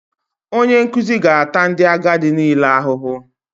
Onye nkuzi ga-ata ndị agadi niile ahụhụ